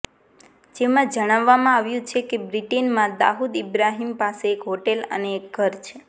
જેમાં જણાવવામાં આવ્યું છે કે બ્રિટનમાં દાઉદ ઇબ્રાહિમ પાસે એક હોટેલ અને એક ઘર છે